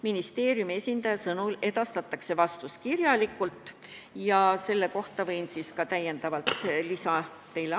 Ministeeriumi esindaja ütles, et vastus saadetakse kirjalikult, ja sellest ma saangi teile täiendavalt rääkida.